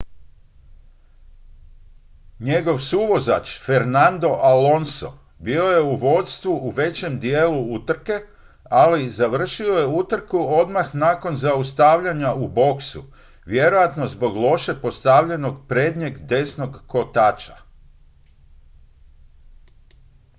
njegov suvozač fernando alonso bio je u vodstvu u većem dijelu utrke ali završio je je utrku odmah nakon zaustavljanja u boksu vjerojatno zbog loše postavljenog prednjeg desnog kotača